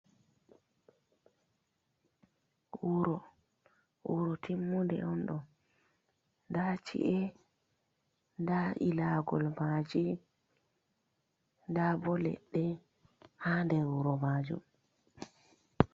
Wuro, wuro timmunde on ɗo nda ci’e, nda ilagol maji, nda bo leɗɗe ha nder wuro majum.